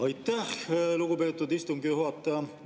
Aitäh, lugupeetud istungi juhataja!